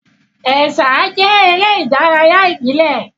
Ẹ̀sà jẹ́ eré ìdárayá ìbílẹ̀.